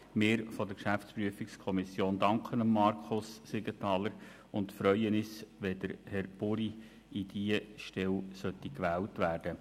Wir von der GPK danken Markus Siegenthaler und freuen uns, wenn Herr Buri für diese Stelle gewählt wird.